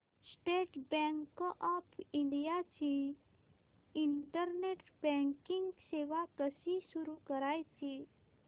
state Bank of India ची internet banking सेवा कशी सुरू करायची